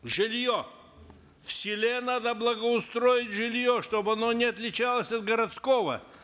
жилье в селе надо благоустроить жилье чтобы оно не отличалось от городского